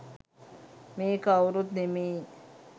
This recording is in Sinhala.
මේ කව්රුත් නෙමෙයි